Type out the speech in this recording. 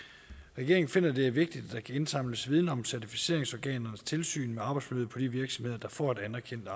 regeringen finder at det er vigtigt at der kan indsamles viden om certificeringsorganernes tilsyn med arbejdsforløb på de virksomheder der får et anerkendt